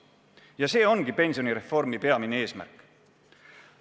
Ja see ongi pensionireformi peamine eesmärk.